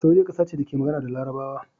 Saudiyya kasa ce da ke magana da Larabawa